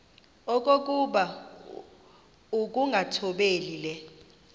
okokuba ukungathobeli le